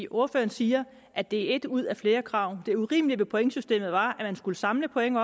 ordføreren siger at det er et ud af flere krav det urimelige ved pointsystemet var at man skulle samle point